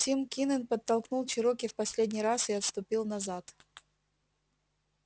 тим кинен подтолкнул чероки в последний раз и отступил назад